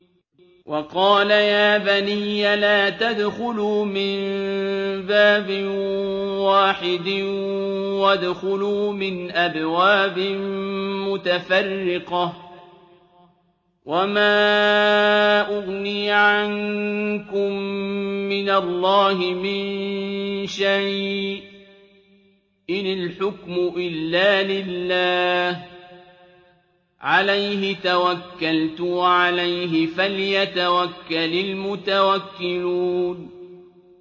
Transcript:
وَقَالَ يَا بَنِيَّ لَا تَدْخُلُوا مِن بَابٍ وَاحِدٍ وَادْخُلُوا مِنْ أَبْوَابٍ مُّتَفَرِّقَةٍ ۖ وَمَا أُغْنِي عَنكُم مِّنَ اللَّهِ مِن شَيْءٍ ۖ إِنِ الْحُكْمُ إِلَّا لِلَّهِ ۖ عَلَيْهِ تَوَكَّلْتُ ۖ وَعَلَيْهِ فَلْيَتَوَكَّلِ الْمُتَوَكِّلُونَ